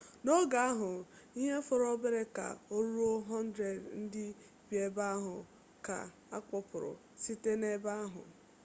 n'oge ahụ ihe fọrọ obere ka o ruo 100 ndị bi ebe ahụ ka a kpọkpụrụ site n'ebe ahụ